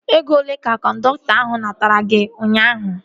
Ego olee ka kọndọktọ ahu natara gị ụnyaahụ?